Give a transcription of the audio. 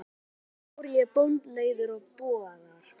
En aldrei fór ég bónleiður til búðar.